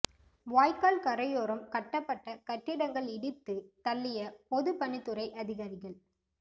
வாய்க்கால் கரையோரம் கட்டப்பட்ட கட்டிடங்கள் இடித்து தள்ளிய பொதுப்பணித்துறை அதிகாரிகள்